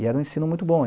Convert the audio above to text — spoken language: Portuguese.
E era um ensino muito bom.